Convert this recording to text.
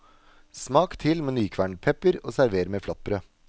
Smak til med nykvernet pepper og server med flatbrød.